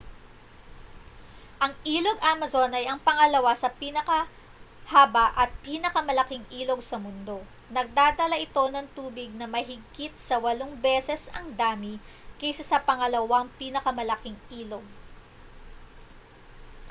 ang ilog amazon ay ang pangalawa sa pinakahaba at ang pinakamalaking ilog sa mundo nagdadala ito ng tubig na mahigit sa 8 beses ang dami kaysa sa pangalawang pinakamalaking ilog